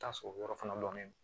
Taa sɔrɔ yɔrɔ fana lolen do